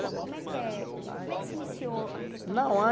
Co como é que como é que se iniciou a questão? Não é.